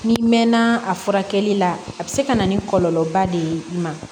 N'i mɛnna a furakɛli la a bɛ se ka na ni kɔlɔlɔba de ye i ma